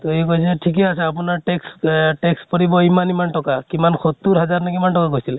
তʼ সি কৈছে , থিকেই আছে আপোনাৰ tax, tax পৰিব ইমান ইমান টকা । কিমান সত্তৰ হাজাৰ নে কিমান টকা কৈছিলে